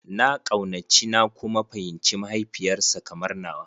Na kaunaci na kuma fahimci mahaifiyar sa kamar nawa.